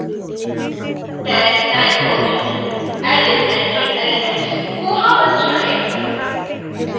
tag 942 added entry elements koha पर जाएँ